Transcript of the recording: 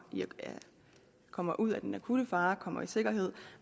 kommer ud af den akutte fare kommer i sikkerhed